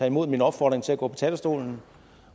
imod min opfordring til at gå på talerstolen